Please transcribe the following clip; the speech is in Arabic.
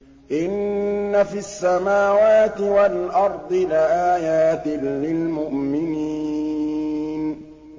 إِنَّ فِي السَّمَاوَاتِ وَالْأَرْضِ لَآيَاتٍ لِّلْمُؤْمِنِينَ